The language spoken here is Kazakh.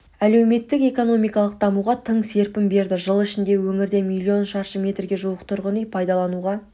әлеуметтік-экономикалық дамуға тың серпін берді жыл ішінде өңірде миллион шаршы метрге жуық тұрғын үй пайдалануға